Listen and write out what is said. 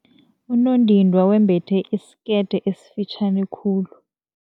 Unondindwa wembethe isikete esifitjhani khulu.